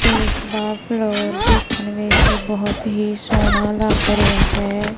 ਇਸਦਾ ਫਲੋਰ ਦੇਖਣ ਵਿਚ ਬਹੁਤ ਹੀ ਸੋਹਣਾ ਲੱਗ ਰਿਹਾ ਹੈ।